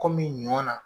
Kɔmi ɲɔ na